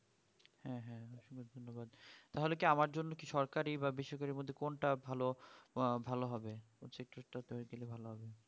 তাহলে কি আমার জন্য সরকারি বা বেসরকারি বলতে কোনটা ভালো আহ ভালো হবে সেটা একটু বলে দিলে ভালো হবে